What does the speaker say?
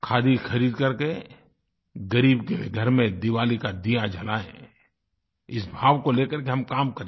खादी खरीद करके ग़रीब के घर में दिवाली का दीया जलायें इस भाव को लेकर के हम काम करें